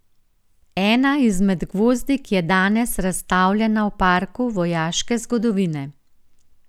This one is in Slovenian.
Ena izmed gvozdik je danes razstavljena v Parku vojaške zgodovine.